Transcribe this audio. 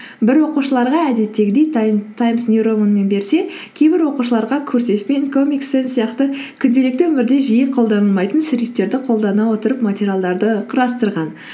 бір оқушыларға әдеттегідей таймс нью романмен берсе кейбір оқушыларға курсивпен комикстан сияқты күнделікті өмірде жиі қолданылмайтын шрифттерді қолдана отырып материалдарды құрастырған